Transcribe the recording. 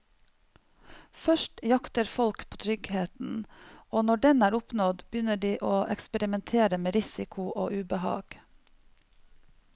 Først jakter folk på tryggheten, og når den er oppnådd, begynner de å eksperimentere med risiko og ubehag.